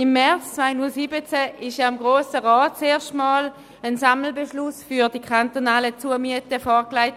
Im März 2017 wurde dem Grossen Rat zum ersten Mal ein Sammelbeschluss zu den kantonalen Zumieten vorgelegt.